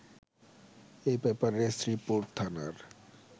এ ব্যাপারে শ্রীপুর থানার